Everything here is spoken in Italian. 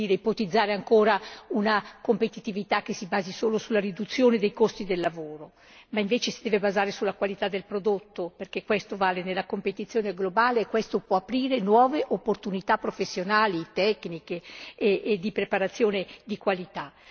ipotizzare ancora una competitività che si basi solo sulla riduzione dei costi del lavoro, ma che, invece, si deve basare sulla qualità del prodotto, perché questo conta nella competizione globale e questo può aprire nuove opportunità professionali, tecniche e di preparazione di qualità.